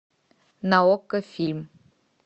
на окко фильм